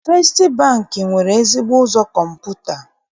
Festị Bankị nwere ezigbo ụzọ kọmputa.